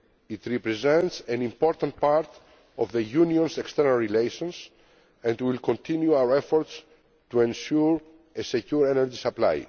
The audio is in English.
forgotten. It represents an important part of the Union's external relations, and we will continue our efforts to ensure a secure energy